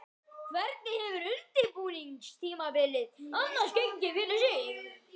Hvernig hefur undirbúningstímabilið annars gengið fyrir sig?